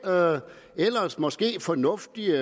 ellers måske fornuftige